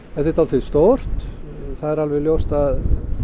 þetta er dálítið stórt það er alveg ljóst að